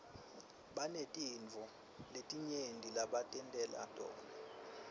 banetintfo letinyenti lebatentela tona